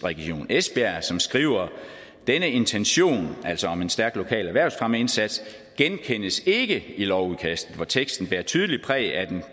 region esbjerg skriver denne intention altså om en stærk lokal erhvervsfremmeindsats genkendes ikke i lovudkastet hvor teksten bærer tydeligt præg af